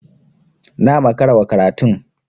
Na makara wa karatun.